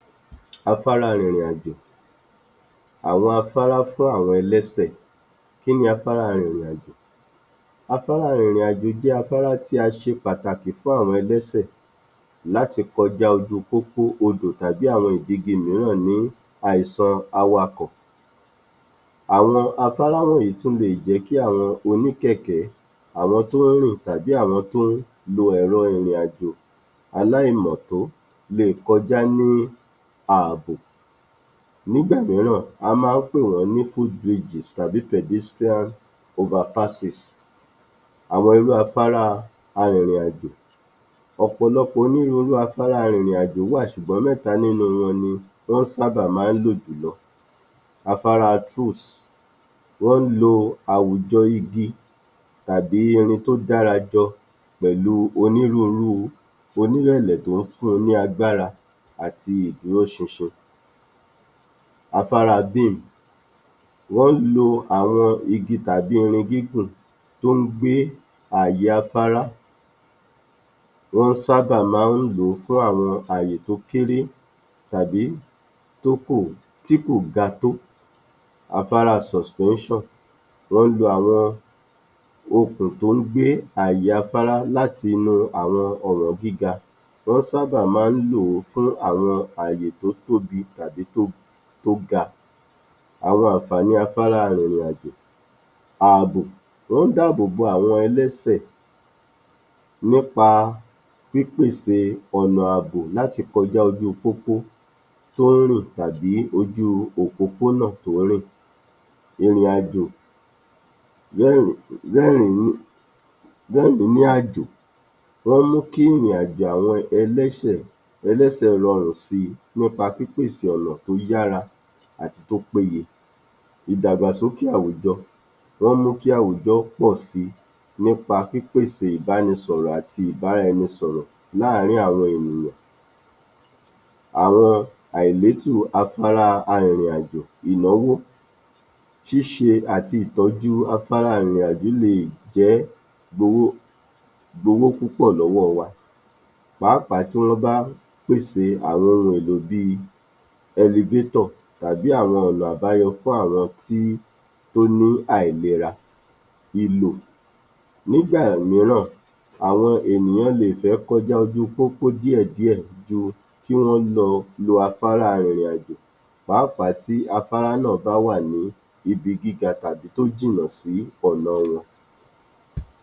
Afárá-ìrìrìnàjò Àwọn afárá fún àwọn ẹlẹ́sẹ̀, kí ní afárá-ìrìrìnàjò? Afárá-ìrìrìnàjò jẹ́ afárá tí a ṣe pàtàkì fún àwọn ẹlẹ́ṣẹ̀ láti kọjá ojú pópó, odò tàbí àwọn gbègede mìíràn ní àìsọ̀ awakọ̀, àwọn afárá wọ̀nyí tún lè jẹ́ kí àwọn oníkẹ̀kẹ́, àwọn tó ń rìn tàbí àwọn tó ń lo ẹ̀rọ ìrìnàjò aláìmọ̀tó lè kọjá ní àbò, nígbà mìíràn, a máa ń pè wọ́n ní foot bridges tàbí pedestrian overpasses. Àwọn irú afárá-arììrìnàjò, ọ̀pọ̀lọpọ̀ onírurú afárá-arìrìnàjò wà ṣùgbọ́n mẹ́ta nínú wọn ni wọ́n sábà máa ń lò jùlọ. Afárá truss, wọ́n lo àwùjọ igi tàbí irin tó dára jọ pẹ̀lú onírurú tó ń fun ní agbára, àti ìdúró ṣinṣin. Afárá beam, wọ́n lo àwọn igi tàbí irin gígun tó ń gbé àyè afárá, wọ́n sábà máa ń lò fún àwọn àyè tó kéré tàbí tó, tí kò ga tó. Afárá suspension, wọ́n lo àwọn okùn tó ń gbé àyè afárá láti mọ ọ̀nà gíga, wọ́n sábà máa ń lò fún àwọn àyè tó tóbi tàbí tó ga. Àwọn àǹfààní afárá-arìrìnàjò; Àbò, ó ń dábòbò àwọn ẹlẹ́sẹ̀ nípa pípèsè ọ̀nà àbò láti kọjá lójú pópó tó ń rìn tàbí ojú òpòpónà tó ń rìn. Ìrìnàjò, ó ń mú kí ìrìnàjò àwọn ẹlẹ́sẹ̀ rọrùn si nípa pípèsè ọ̀nà tó yára àti tó péyé. Ìdàgbàsókè àwùjọ, ó ń mú kí àwùjọ pọ̀ si nípa pípèsè ìbánisọ̀rọ̀ àti ìbáraẹnisọ̀rọ̀ láàrin àwọn ènìyàn. Àwọn àléébù afárá-arìrìnàjò; Ìnáwó, ṣíṣe àti ìtọ́jú afárá-ìrìnàjò, lè gbowó púpọ̀ lọ́wọ́ wa pàápàá tí wọ́n bá pèsè àwọn ohun èlò bí i elevator tàbí àwọn ọ̀nà àbáyọ fún àwọn tí ó ní àìlera. Ìlò, nígbà mìíràn, àwọn ènìyàn lè fẹ́ kọjá ojú pópó díẹ̀díẹ̀ kí wọ́n lọ lo afárá arìrìnàjò pàápàá tí afárá náà bá wà ní ibi gíga tàbí tó jìnà sí ọ̀nà wọn.